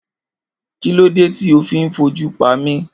Kilode ti o fi n foju pami?